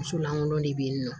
Muso lankolon de bɛ yen nɔ